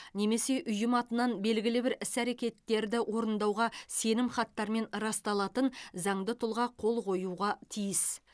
немесе ұйым атынан белгілі бір іс әрекеттерді орындауға сенімхаттармен расталатын заңды тұлға қол қоюға тиіс